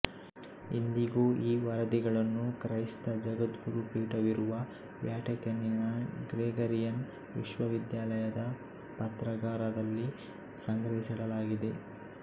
ಇಂದಿಗೂ ಈ ವರದಿಗಳನ್ನು ಕ್ರೈಸ್ತ ಜಗದ್ಗುರುಪೀಠವಿರುವ ವ್ಯಾಟಿಕನ್ನಿನ ಗ್ರೆಗರಿಯನ್ ವಿಶ್ವವಿದ್ಯಾಲಯದ ಪತ್ರಾಗಾರದಲ್ಲಿ ಸಂಗ್ರಹಿಸಿಡಲಾಗಿದೆ